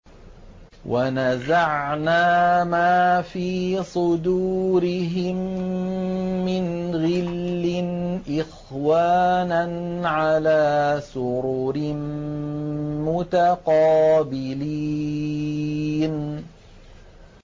وَنَزَعْنَا مَا فِي صُدُورِهِم مِّنْ غِلٍّ إِخْوَانًا عَلَىٰ سُرُرٍ مُّتَقَابِلِينَ